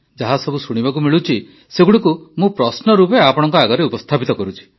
ଯାହା ସବୁ ଶୁଣିବାକୁ ମିଳୁଛି ସେଗୁଡ଼ିକୁ ମୁଁ ପ୍ରଶ୍ନ ରୂପେ ଆପଣଙ୍କ ଆଗରେ ଉପସ୍ଥାପିତ କରୁଛି